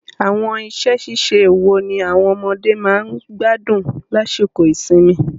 Àwọn iṣẹ́-ṣíṣe wo ni àwọn ọmọdé máa ń gbádùn lásìkò ìsinmi?